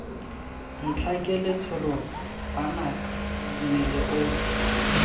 ntlhake letshoroma banaka mmele otlhe